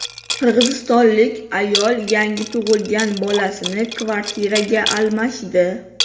Qirg‘izistonlik ayol yangi tug‘ilgan bolasini kvartiraga almashdi.